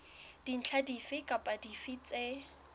dintlha dife kapa dife tse